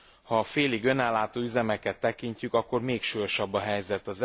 Ha a félig önellátó üzemeket tekintjük, akkor még súlyosabb a helyzet.